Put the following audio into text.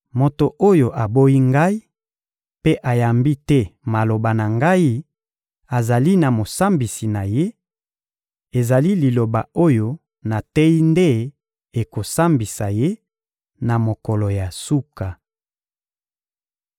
Moto oyo aboyi Ngai mpe ayambi te maloba na Ngai azali na mosambisi na ye: ezali liloba oyo nateyi nde ekosambisa ye, na mokolo ya suka.